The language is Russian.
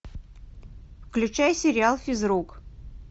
включай сериал физрук